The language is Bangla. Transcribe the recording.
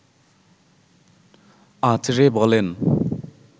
আঁচড়ে বলেন